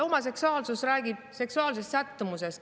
Homoseksuaalsus räägib seksuaalsest sättumusest.